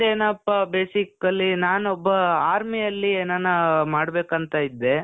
ನನ್ದೇನಪ್ಪಾ basically ನಾನೊಬ್ಬ armyಯಲ್ಲಿ ಏನನ ಮಾಡ್ಬೇಕಂತ ಇದ್ದೆ.